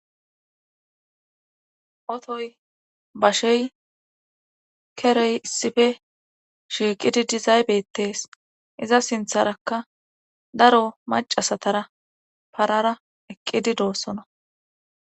otoy bashey kerey issife shiiqidi dizaybettees iza sintharakka daro macasatara parara eqqidi doossona